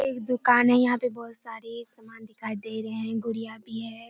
एक दुकान है यहाँ पे बहुत सारी समान दिखाई दे रहें हैं गुड़िया भी है।